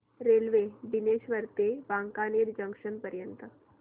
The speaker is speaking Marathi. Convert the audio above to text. रेल्वे बिलेश्वर ते वांकानेर जंक्शन पर्यंत